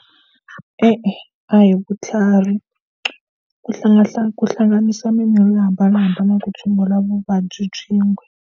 E-e a hi vutlhari ku ku hlanganisa mimirhi yo hambanahambana ku tshungula vuvabyi byin'we.